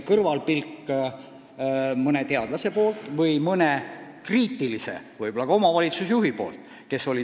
Aga mõne teadlase kõrvalpilk või mõni kriitiline omavalitsusjuhi pilk tuleb ka kasuks.